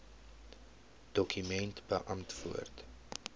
dokument beantwoord